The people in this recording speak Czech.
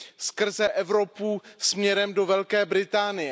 skrze Evropu směrem do Velké Británie.